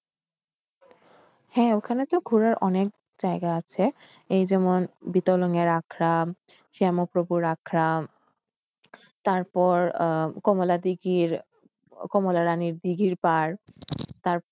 হ্যাঁ ওখানে তো ঘুরার অনেক জায়গা আছে। এই যেমন বিতলন এর আখরাম, শ্যাম প্রভুর আখরাম তারপর আহ কমলা দিঘির কমলা রানির দিঘির পাড় তারপর,